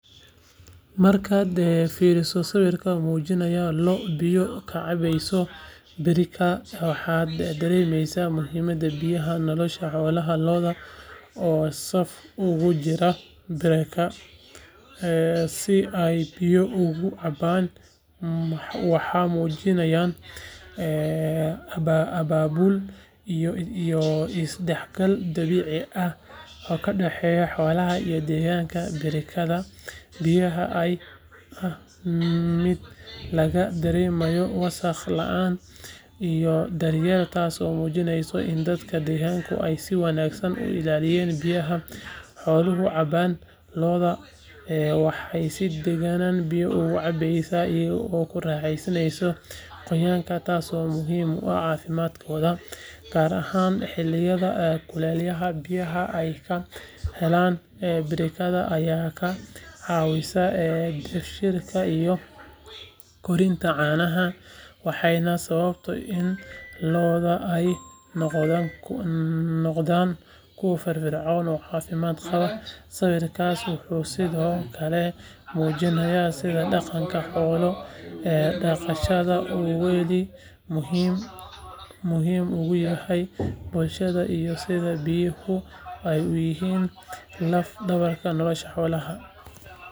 Markaad fiiriso sawir muujinaya lo’ biyo ka cabaya birika waxaad dareemaysaa muhiimadda biyaha nolosha xoolaha lo’da oo saf ugu jira birika si ay biyo uga cabbaan waxay muujinayaan abaabul iyo isdhexgal dabiici ah oo ka dhaxeeya xoolaha iyo deegaanka birikada biyaha ayaa ah mid laga dareemayo wasakh la’aan iyo daryeel taasoo muujinaysa in dadka deegaanka ay si wanaagsan u ilaaliyaan biyaha xooluhu cabbaan lo’da waxay si degan biyo ugu cabayaan iyagoo ku raaxaysanaya qoyaanka taasoo muhiim u ah caafimaadkooda gaar ahaan xilliyada kulaylaha biyaha ay ka helaan birikada ayaa ka caawiya dheefshiidka iyo kordhinta caanaha waxayna sababtaa in lo’da ay noqdaan kuwo firfircoon oo caafimaad qaba sawirkaas wuxuu sidoo kale muujinayaa sida dhaqanka xoolo-dhaqashada uu weli muhiim uga yahay bulshadeena iyo sida biyuhu ay u yihiin laf-dhabarta nolosha xoolaha.